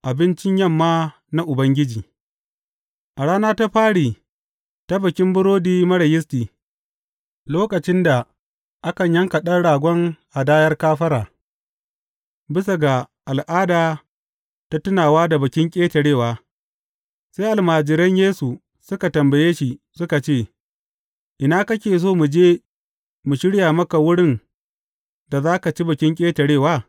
Abincin yamma na Ubangiji A rana ta fari ta Bikin Burodi Marar Yisti, lokacin da akan yanka ɗan ragon hadayar kafara, bisa ga al’ada ta tunawa da Bikin Ƙetarewa, sai almajiran Yesu suka tambaye shi, suka ce, Ina kake so mu je mu shirya maka wurin da za ka ci Bikin Ƙetarewa?